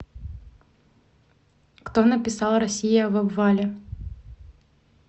кто написал россия в обвале